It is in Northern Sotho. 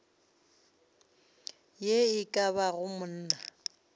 ye e ka bago monna